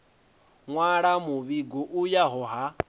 nwala muvhigo u yaho ha